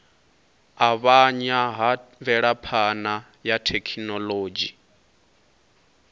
avhanya ha mvelaphana ya thekhinolodzhi